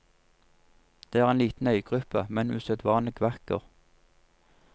Det er en liten øygruppe, men usedvanlig vakker.